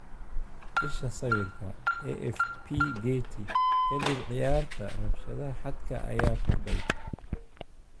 Isha sawirka, AFP/Getty. Ka dib ciyaarta, rabshadaha xadka ayaa kordhay.